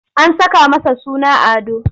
An saka masa suna Ado.